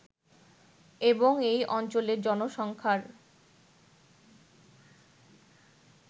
এবং এই অঞ্চলের জনসংখ্যার